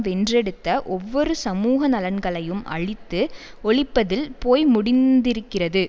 வென்றெடுத்த ஒவ்வொரு சமூக நலன்களையும் அழித்து ஒழிப்பதில் போய் முடிந்திருக்கிறது